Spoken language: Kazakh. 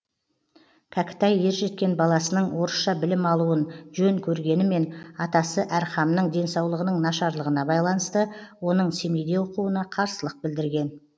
кәкітай ержеткен баласының орысша білім алуын жөн көргенімен атасы әрхамның денсаулығының нашарлығына байланысты оның семейде оқуына қарсылық білдірген